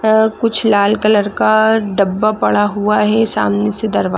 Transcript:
अ कुछ लाल कलर का डब्बा पड़ा हुआ है सामने से दरवा--